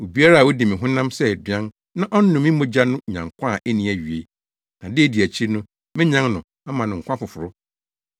Obiara a odi me honam sɛ aduan na ɔnom me mogya no nya nkwa a enni awiei, na da a edi akyiri no menyan no ama no nkwa foforo.